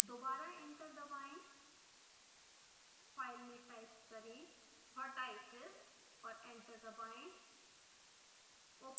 दोबारा एंटर दबाएं फाइल में टाइप करें vertices और एंटर दबाएं